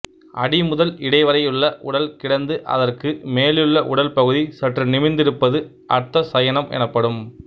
அடி முதல் இடைவரையுள்ள உடல் கிடந்து அதற்கு மேலுள்ள உடல் பகுதி சற்று நிமிர்ந்திருப்பது அர்த்த சயனம் எனப்படும்